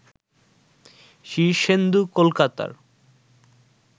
শীর্ষেন্দু কলকাতার